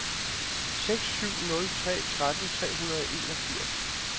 seks syv nul tre tretten tre hundrede og enogfirs